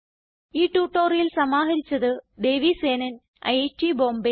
ഈ ട്യൂട്ടോറിയൽ സമാഹരിച്ചത് ദേവി സേനൻ ഐറ്റ് ബോംബേ